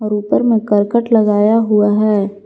ऊपर में करकट लगाया हुआ है।